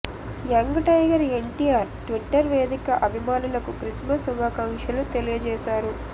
young tiger NTR Twitter వేదిక అభిమానులకు Christmas శుభాకాంక్షలు తెలియజేశారు